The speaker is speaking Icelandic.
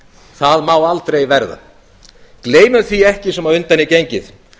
það má aldrei verða gleymum því ekki sem á undan er gengið